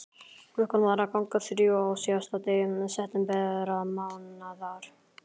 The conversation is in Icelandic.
Klukkan var að ganga þrjú á síðasta degi septembermánaðar.